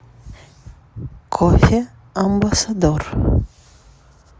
кофе амбассадор